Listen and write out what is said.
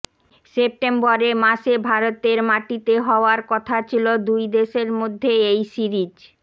সেপ্টেম্বরে মাসে ভারতের মাটিতে হওয়ার কথা ছিল দুই দেশের মধ্যে এই সিরিজ